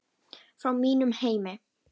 Frá mínum heimi.